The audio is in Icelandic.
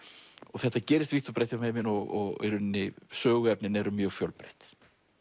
þetta gerist vítt og breitt um heiminn og í rauninni söguefnin eru mjög fjölbreytt